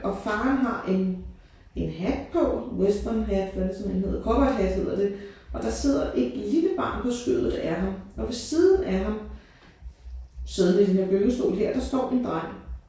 Og faren har en en hat på westernhat hvad sådan en hedder cowboyhat hedder det og der sidder et lille barn på skødet af ham og ved siden af ham siden af den her gyngestol her der står en dreng